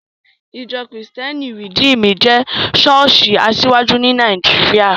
Ìjọ́ kìrìtẹ́nì Rìdímù jẹ́ ṣọ́ọ̀ṣì asiwaju ní Nàìjíríà